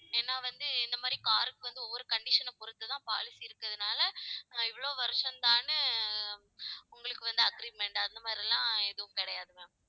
ஏன்னா வந்து இந்த மாதிரி car க்கு வந்து ஒவ்வொரு condition அ பொறுத்துதான் policy இருக்கறதுனால இவ்வளவு வருஷம்தான்னு உங்களுக்கு வந்து agreement அந்த மாதிரி எல்லாம் எதுவும் கிடையாது ma'am